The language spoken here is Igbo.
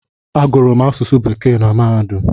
Agụrụ m asụsụ bekee na mahadum